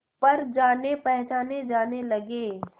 पर जानेपहचाने जाने लगे